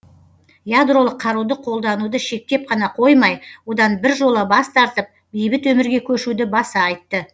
ядролық қаруды қолдануды шектеп қана қоймай одан біржола бас тартып бейбіт өмірге көшуді баса айтты